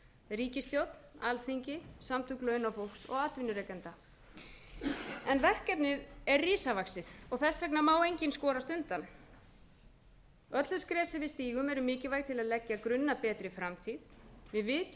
ríkisstjórn alþingi samtök launafólks og atvinnurekenda verkefnið er risavaxið og þess vegna má enginn skorast undan öll þau skref sem við stígum eru mikilvæg til að leggja grunn að betri framtíð við vitum auðvitað